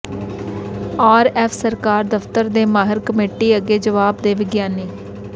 RF ਸਰਕਾਰ ਦਫ਼ਤਰ ਦੇ ਮਾਹਿਰ ਕਮੇਟੀ ਅੱਗੇ ਜਵਾਬਦੇਹ ਵਿਗਿਆਨੀ